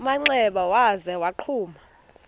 manxeba waza wagquma